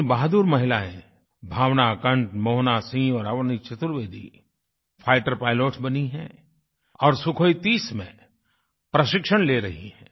तीन बहादुर महिलाएँ भावना कंठ मोहना सिंह और अवनी चतुर्वेदी फाइटर पाइलट्स बनी हैं और Sukhoi30 में प्रशिक्षण ले रही हैं